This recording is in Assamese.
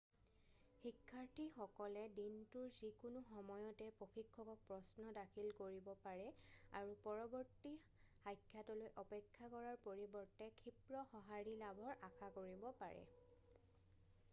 শিক্ষাৰ্থীসকলে দিনটোৰ যিকোনো সময়তে প্ৰশিক্ষকক প্ৰশ্ন দাখিল কৰিব পাৰে আৰু পৰৱৰ্তী মুখামুখি সাক্ষাতলৈ অপেক্ষা কৰাৰ পৰিৱৰ্তে ক্ষিপ্ৰ সঁহাৰি লাভৰ আশা কৰিব পাৰে